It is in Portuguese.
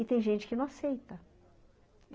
E tem gente que não aceita.